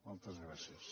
moltes gràcies